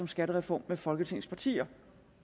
skattereform med folketings partier